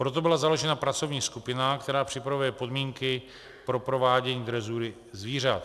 Proto byla založena pracovní skupina, která připravuje podmínky pro provádění drezury zvířat.